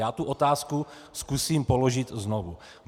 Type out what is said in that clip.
Já tu otázku zkusím položit znovu.